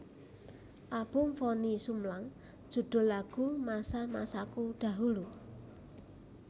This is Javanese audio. Album Vonny Sumlang judul lagu Masa masaku dahulu